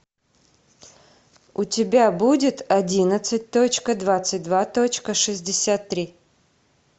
у тебя будет одиннадцать точка двадцать два точка шестьдесят три